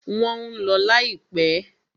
Wọ́n ń lọ láìpẹ́.